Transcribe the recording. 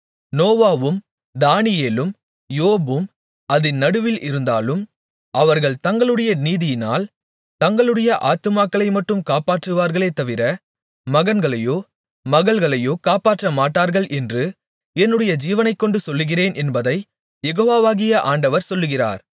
நோவாவும் தானியேலும் யோபும் அதின் நடுவில் இருந்தாலும் அவர்கள் தங்களுடைய நீதியினால் தங்களுடைய ஆத்துமாக்களைமட்டும் காப்பாற்றுவார்களே தவிர மகன்களையோ மகள்களையோ காப்பாற்றமாட்டார்கள் என்று என்னுடைய ஜீவனைக்கொண்டு சொல்லுகிறேன் என்பதைக் யெகோவாகிய ஆண்டவர் சொல்லுகிறார்